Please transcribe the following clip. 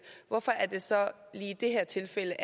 hvorfor er det så lige i det her tilfælde